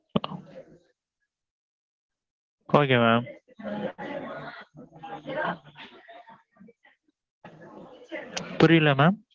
okay mam. புரியல mam.